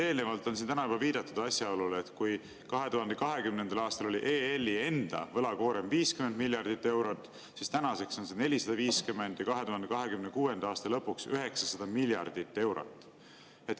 Eelnevalt on siin täna juba viidatud asjaolule, et kui 2020. aastal oli EL-i enda võlakoorem 50 miljardit eurot, siis tänaseks on see 450 ja 2026. aasta lõpuks 900 miljardit eurot.